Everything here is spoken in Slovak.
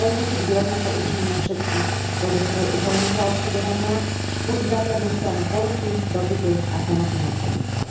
Boj musí byť rovnako účinný na všetkých bodoch trojuholníka obchodovania, musí zasiahnuť stranu ponuky, dopytu a samotných obchodníkov.